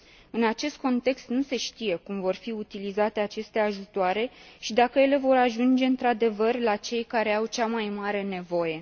În acest context nu se știe cum vor fi utilizate aceste ajutoare și dacă ele vor ajunge într adevăr la cei care au cea mai mare nevoie.